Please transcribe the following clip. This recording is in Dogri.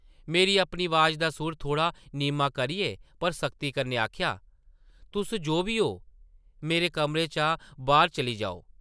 में अपनी अवाज़ दा सुर थोह्ड़ा नीमां करियै पर सख्ती कन्नै आखेआ, तुस जो बी ओ, मेरे कमरे चा बाह्र चली जाओ ।